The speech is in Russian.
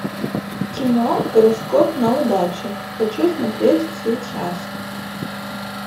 кино гороскоп на удачу хочу смотреть сейчас